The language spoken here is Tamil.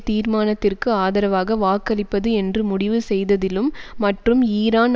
தீர்மானத்திற்கு ஆதரவாக வாக்களிப்பது என்று முடிவு செய்ததிலும் மற்றும் ஈரான்